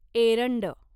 एरंड